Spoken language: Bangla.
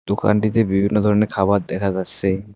দোকানটিতে বিভিন্ন ধরনের খাবার দেখা যাচ্সে।